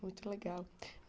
Muito legal.